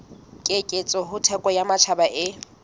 keketseho thekong ya matjhaba e